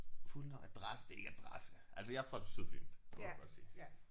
Fulde navn adresse det er ikke adresse altså jeg er fra Sydfyn. Det må man godt sige